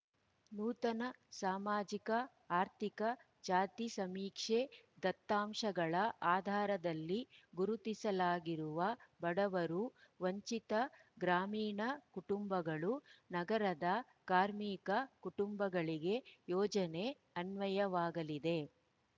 ನೂತನ ಸಾಮಾಜಿಕಆರ್ಥಿಕ ಜಾತಿ ಸಮೀಕ್ಷೆ ದತ್ತಾಂಶಗಳ ಆಧಾರದಲ್ಲಿ ಗುರುತಿಸಲಾಗಿರುವ ಬಡವರು ವಂಚಿತ ಗ್ರಾಮೀಣ ಕುಟುಂಬಗಳು ನಗರದ ಕಾರ್ಮಿಕ ಕುಟುಂಬಗಳಿಗೆ ಯೋಜನೆ ಅನ್ವಯವಾಗಲಿದೆ